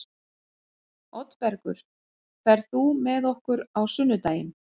Oddbergur, ferð þú með okkur á sunnudaginn?